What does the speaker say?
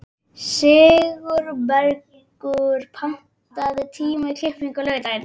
Sigurbergur, pantaðu tíma í klippingu á laugardaginn.